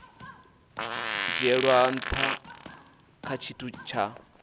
dzhielwa nha kha tshithu tsha